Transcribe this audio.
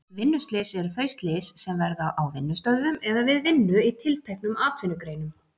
Vinnuslys eru þau slys sem verða á vinnustöðvum eða við vinnu í tilteknum atvinnugreinum.